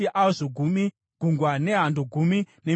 Gungwa nehando gumi nembiri pasi paro;